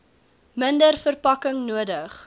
minder verpakking nodig